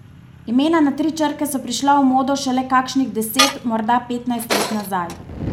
Imena na tri črke so prišla v modo šele kakšnih deset, morda petnajst let nazaj.